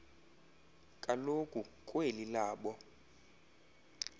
kaloku kweli labo